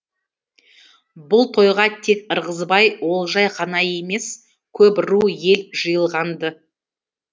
бұл тойға тек ырғызбай олжай ғана емес көп ру ел жиылған ды